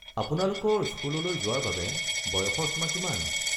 আপোনালোকৰ স্কুললৈ যোৱাৰ বাবে বয়সৰ সীমা কিমান?